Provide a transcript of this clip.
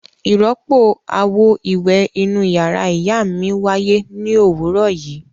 Ìrọ́pò àwo-ìwẹ̀ inú ìyàrá ìyá mi wáyé ní òwúrọ̀ yìí.